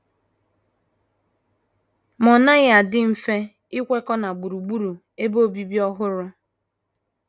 Ma ọ naghị adị mfe ikwekọ na gburugburu ebe obibi ọhụrụ.